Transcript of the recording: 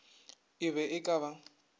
e be e ka ba